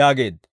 yaageedda.